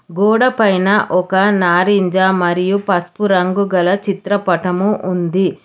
గోడ పైన ఒక నారింజ మరియు పసుపు రంగు గల చిత్రపటము ఉంది.